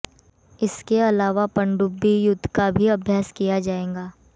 इसके अलावा पनडुब्बी युद्ध का भी अभ्यास किया जाएगा